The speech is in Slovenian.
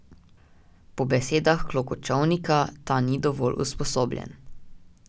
Po besedah Klokočovnika, ta ni dovolj usposobljen.